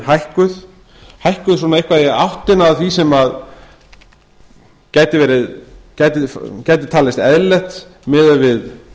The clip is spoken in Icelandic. hækkuð hækkuð svona eitthvað í áttina að því sem að gæti talist eðlilegt miðað við